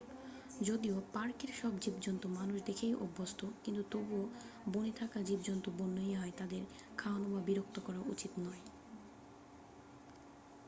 যদিও পার্কের সব জীবজন্তু মানুষ দেখেই অভ্যস্থ, কিন্তু তবুও বনে থাকা জীবজন্তু বন্য ই হয়, তাদের খাওয়ানো বা বিরক্ত করা উচিত নয়।